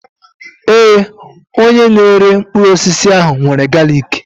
Ee, onye na-ere mkpụrụ osisi ahụ nwere galiki.